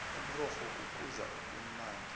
umrorho kukudla okumnandi